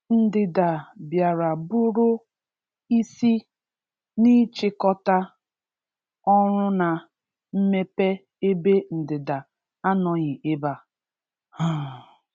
Ndịda bịara bụrụ isi n’ịchịkọta ọrụ na mmepe ebe Ndịda anọghị ebe a. um